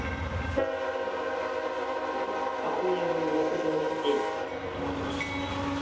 сука охуенных запутанных сетей